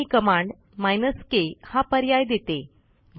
मन ही कमांडminus के हा पर्याय देते